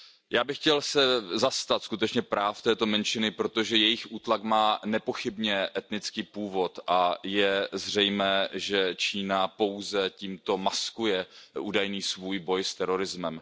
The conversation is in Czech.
Já bych se chtěl zastat skutečně práv této menšiny, protože jejich útlak má nepochybně etnický původ a je zřejmé, že Čína pouze tímto maskuje svůj údajný boj s terorismem.